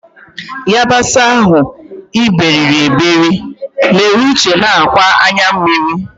yabasị ahụ iberiri eberi mere uche na-akwa anya mmiri.